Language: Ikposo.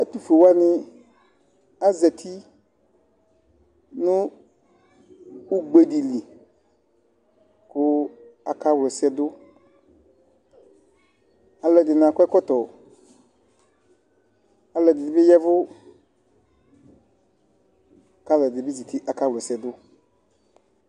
Ɛtʋfue wanɩ azati nʋ ugbe dɩ li kʋ akawla ɛsɛ dʋ Alʋɛdɩnɩ akɔ ɛkɔtɔ, alʋɛdɩnɩ bɩ ya ɛvʋ kʋ alʋɛdɩnɩ bɩ zati, akawla ɛsɛ dʋ